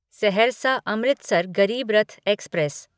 Saharsa Amritsar Garib Rath express